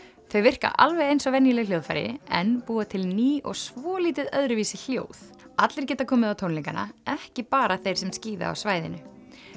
þau virka alveg eins og venjuleg hljóðfæri en búa til ný og svolítið öðruvísi hljóð allir geta komið á tónleikana ekki bara þeir sem skíða á svæðinu